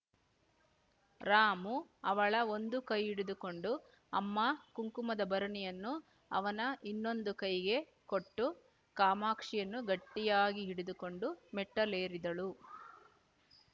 ರಾಮು ಅವಳ ಒಂದು ಕೈ ಹಿಡಿದುಕೊಂಡು ಅಮ್ಮ ಕುಂಕುಮದ ಭರಣಿಯನ್ನು ಅವನ ಇನ್ನೊಂದು ಕೈಗೆ ಕೊಟ್ಟು ಕಾಮಾಕ್ಷಿಯನ್ನು ಗಟ್ಟಿಯಾಗಿ ಹಿಡಿದುಕೊಂಡು ಮೆಟ್ಟಿಲೇರಿದಳು